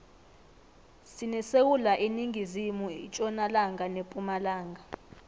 sinesewula iningizimu itjonalanga nepumalanga